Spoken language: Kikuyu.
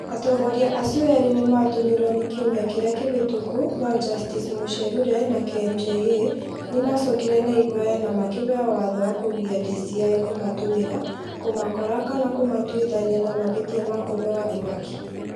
Atongoria acio erĩ nĩ maatũmirwo kiumia kĩrĩa kĩhĩtũku no Justice Muchelule na KMJA nĩ maacokire na ihoya na makĩheo watho wa kũgiria DCĩ kũmatũmĩra, kũmakora kana kũmatuithania na mahĩtia ma kũheo ihaki.